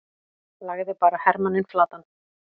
lagði bara hermanninn flatan!